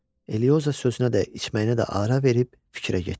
Elioza sözünə də, içməyinə də ara verib fikrə getdi.